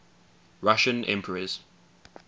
russian emperors